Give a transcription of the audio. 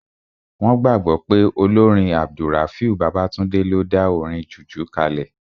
Wọ́n gbàgbọ́ pé olórin AbdulRafiu Babatunde ló dá orin jùjú kalẹ̀